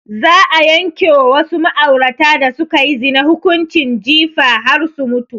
Za a yanke wa wasu ma'aurata da sukayi zina hukunci jifa har su mutu